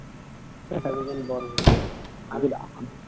তাকে বলি বর বউ